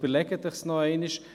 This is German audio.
Überlegen Sie es sich nochmals.